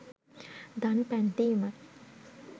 දන් පැන් දීමයි.